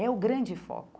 É o grande foco.